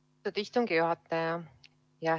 Austatud istungi juhataja!